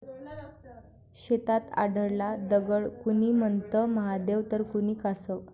शेतात आढळला दगड, कुणी म्हणतं महादेव तर कुणी कासव!